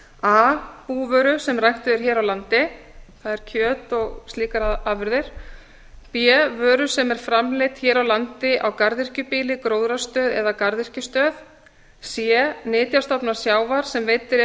a búvöru sem er ræktuð hér á landi það er kjöt og slíkar afurðir b vöru sem er framleidd hér á landa garðyrkjubýli gróðrarstöð eða garðyrkjustöð c nytjastofna sjávar sem veiddir eru